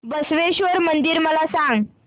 बसवेश्वर मंदिर मला सांग